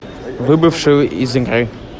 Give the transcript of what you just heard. выбывший из игры